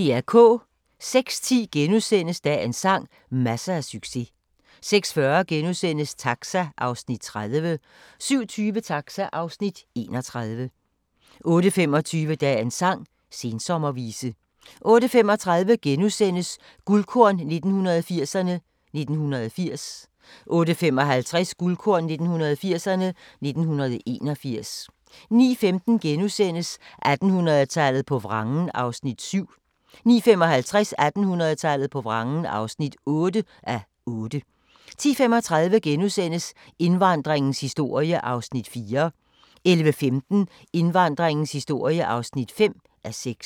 06:10: Dagens sang: Masser af succes * 06:40: Taxa (Afs. 30)* 07:20: Taxa (Afs. 31) 08:25: Dagens sang: Sensommervise 08:35: Guldkorn 1980'erne: 1980 * 08:55: Guldkorn 1980'erne: 1981 09:15: 1800-tallet på vrangen (7:8)* 09:55: 1800-tallet på vrangen (8:8) 10:35: Indvandringens historie (4:6)* 11:15: Indvandringens historie (5:6)